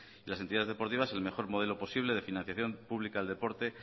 y las entidades deportivas el mejor modelo posible de financiación pública al deporte